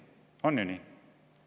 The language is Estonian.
On ju nii?